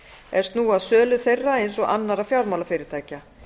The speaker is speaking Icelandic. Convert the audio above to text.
er snúa að sölu þeirra eins og annarra fjármálafyrirtækja